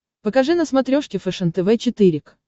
покажи на смотрешке фэшен тв четыре к